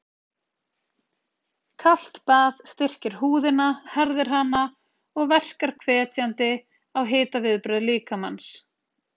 Kalt bað styrkir húðina, herðir hana og verkar hvetjandi á hitaviðbrögð líkamans.